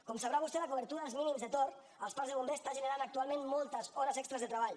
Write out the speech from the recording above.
com deu saber vostè la cobertura dels mínims de torn als parcs de bombers està generant actualment moltes hores extres de treball